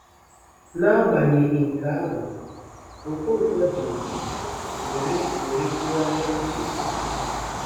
N'agbanyeghị nke ahụ, Okonkwo ji ndidi were were tụgharịa uche na ha.